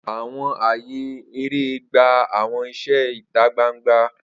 Awọn aaye ere gba awọn iṣẹ ita gbangba.